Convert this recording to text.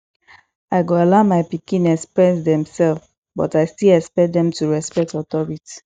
i go allow my pikin express demself but i still expect dem to respect authority